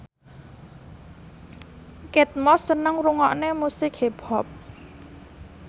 Kate Moss seneng ngrungokne musik hip hop